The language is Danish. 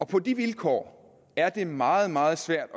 på de vilkår er det meget meget svært